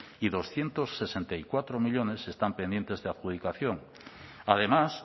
y doscientos sesenta y cuatro millónes están pendientes de adjudicación además